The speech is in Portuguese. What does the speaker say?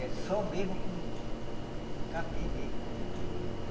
É só mesmo com capim mesmo, né?